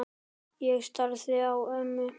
Ég starði á ömmu.